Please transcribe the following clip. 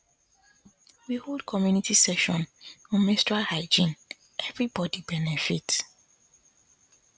we hold community session on menstrual hygiene everybody benefit